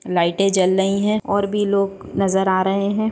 लाइटे जल रही है और भी लोग नजर आ रहे है।